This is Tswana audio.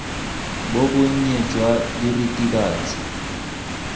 bo bo nnye jwa diritibatsi